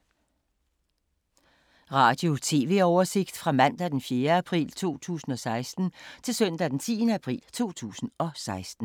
Radio/TV oversigt fra mandag d. 4. april 2016 til søndag d. 10. april 2016